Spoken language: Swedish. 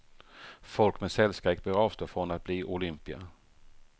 Folk med cellskräck bör avstå från att bli olympier.